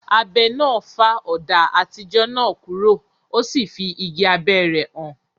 Abẹ náà fá ọ̀dà àtijọ́ náà kúrò, o sì fí igi abẹ́ rẹ̀ hàn.